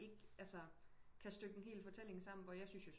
Ikke altså kan stykke en hel fortælling sammen hvor jeg syntes jo